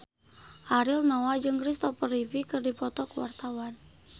Ariel Noah jeung Christopher Reeve keur dipoto ku wartawan